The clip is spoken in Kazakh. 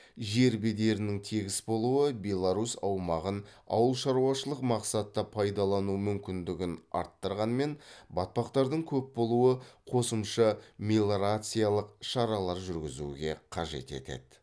жер бедерінің тегіс болуы беларусь аумағын ауыл шаруашылық мақсатта пайдалану мүмкіндігін арттырғанмен батпақтардың көп болуы қосымша мелиорациялық шаралар жүргізуге қажет етеді